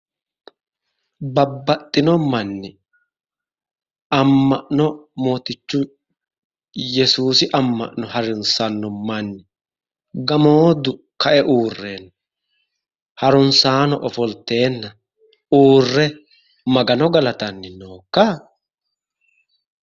Babbaxxino manni amma'no mootichu yesuusi amma'no harunsanno manni gamooddu ka"e uurre harunsaano ofolteenna uurre magano galatanni nookka?